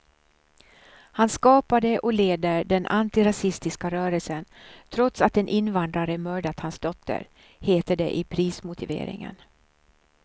Han skapade och leder den antirasistiska rörelsen trots att en invandrare mördat hans dotter, heter det i prismotiveringen.